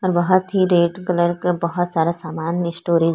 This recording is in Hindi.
बहुत ही रेड कलर का बहुत सारा सामान स्टोरेज --